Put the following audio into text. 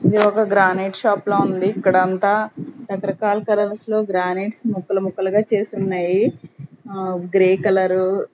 ఇది ఒక granite shop లో ఉంది ఇక్కడంతా రకరకాల కలర్స్ లో గ్రానైట్స్ ముక్కలు ముక్కలుగా చేసి ఉన్నాయి ఆ గ్రే కలర్ .